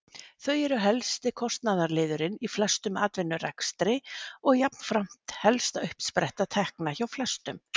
Þau eru helsti kostnaðarliðurinn í flestum atvinnurekstri og jafnframt helsta uppspretta tekna hjá flestum.